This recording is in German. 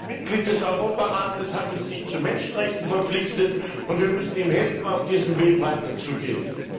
Als Mitglied des Europarats hat es sich den Menschenrechten verpflichtet, und wir müssen ihm helfen, auf diesem Weg weiterzugehen!